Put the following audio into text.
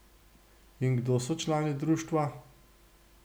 In kdo so člani društva?